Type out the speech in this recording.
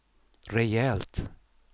rejält